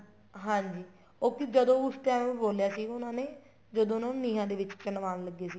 ਹਾਂਜੀ ਉਹ ਜਦੋਂ ਉਸ time ਬੋਲਿਆ ਸੀ ਉਹਨਾ ਨੇ ਜਦੋਂ ਉਹਨਾ ਨੂੰ ਨੀਹਾਂ ਦੇ ਵਿੱਚ ਚਿਣਵਾਨ ਲੱਗੇ ਸੀਗੇ